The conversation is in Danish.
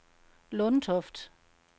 Lundtoft